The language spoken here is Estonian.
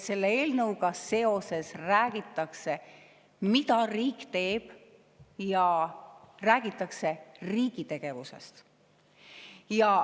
Selle eelnõuga seoses räägitakse sellest, mida riik teeb, räägitakse riigi tegevusest.